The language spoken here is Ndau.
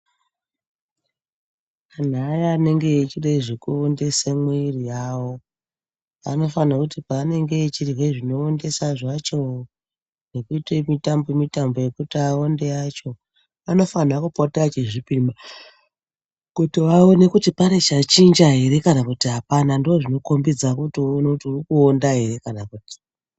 Anhu aya anenge echide zvekuondese mwiri yawo, anofanhwa kuti paanenge echirye zvinoondesa zvacho, nekuite mitambo mitambo yekuti awonde yacho, anofanha kupota achizvipima kuti vaone kuti pane chachinja here kana kuti hapana. Ndozvinokombedza kuti uone kuti uri kuonda ere kana kuti.